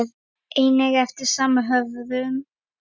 einnig eftir sama höfund.